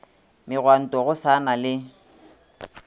megwanto go sa na le